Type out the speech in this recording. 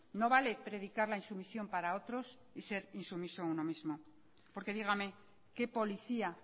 no vale predicar la insumisión para otros y ser insumiso uno mismo porque dígame qué policía